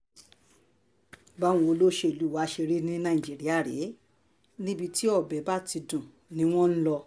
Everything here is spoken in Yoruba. báwọn olóṣèlú wá ṣe rí ní nàìjíríà rèé níbi tí ọbẹ̀ bá ti dùn ni wọ́n ń lọ